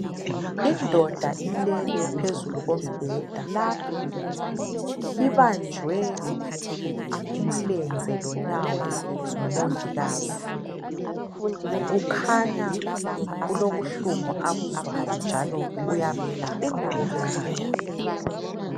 Indoda ilele phezulu kombheda .Ibanjwe umlenze lonyawo ngumongikazi .Kukhanya kulobuhlungu abuzwayo njalo uyamelapha ngokumelula .